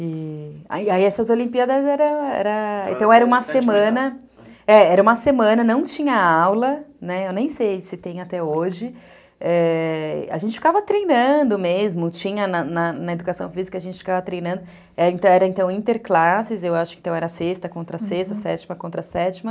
E, e aí essas Olimpíadas era, então era era uma semana, não tinha aula, eu nem sei se tem até hoje, é... a gente ficava treinando mesmo, tinha na educação física, a gente ficava treinando, era então interclasses, eu acho que era sexta contra sexta, sétima contra sétima,